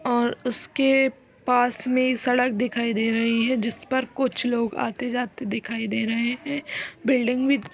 और उसके पास में सड़क दिखाई दे रही है जिस पर कुछ लोग आते जाते दिखाई दे रहे हैं बिल्डिंग भी --